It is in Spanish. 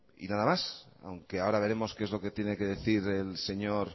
y nada más aunque ahora veremos qué es lo que tiene que decir